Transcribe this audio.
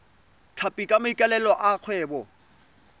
tlhapi ka maikaelelo a kgwebo